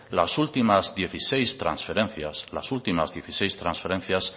las últimas dieciséis transferencias las ultimas dieciséis transferencias